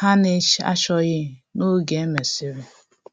ha na-achọghị n’oge e mesịrị